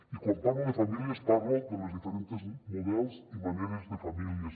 i quan parlo de famílies parlo dels diferents models i maneres de famílies